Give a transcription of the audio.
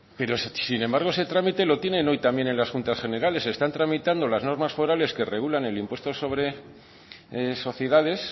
pero sin embargo ese trámite lo tienen hoy también en las juntas generales están tramitando las normas forales que regulan el impuesto sobre sociedades